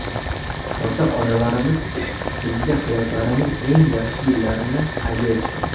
Ota-onalarimiz bizga hayotlarining eng yaxshi yillarini hadya etishgan.